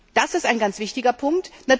Das ist ein ganz wichtiger Punkt.